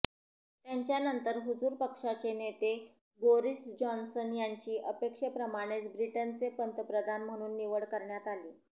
त्यांच्यानंतर हुजूर पक्षाचे नेते बोरिस जॉन्सन यांची अपेक्षेप्रमाणे ब्रिटनचे पंतप्रधान म्हणून निवड करण्यात आली